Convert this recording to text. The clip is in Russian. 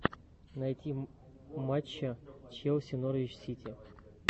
найти матча челси норвич сити